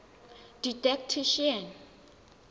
didactician